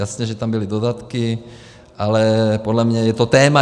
Jasně že tam byly dodatky, ale podle mě je to téma.